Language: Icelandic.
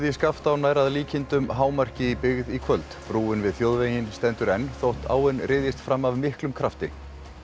í Skaftá nær að líkindum hámarki í byggð í kvöld brúin við þjóðveginn stendur enn þótt áin fram af miklum krafti